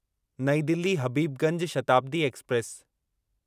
नईं दिल्ली हबीबगंज शताब्दी एक्सप्रेस